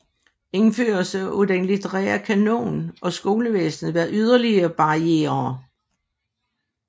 Indførelsen af den litterære kanon og skolevæsenet var yderligere barrierer